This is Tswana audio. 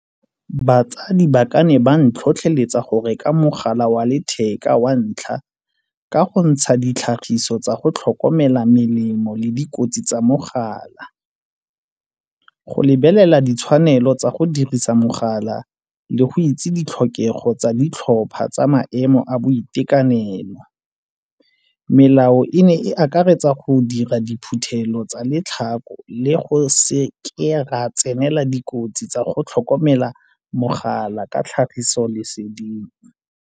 Batsadi ba ka ne ba ntlhotlheletsa go reka mogala wa letheka wa ntlha ka go ntsha ditlhagiso tsa go tlhokomela melemo le dikotsi tsa mogala. Go lebelela ditshwanelo tsa go dirisa mogala le go itse ditlhokego tsa ditlhopha tsa maemo a boitekanelo. Melao e ne e akaretsa go dira diphuthelo tsa le ditlhako le go seke ra tsenela dikotsi tsa go tlhokomela mogala ka tlhagiso leseding.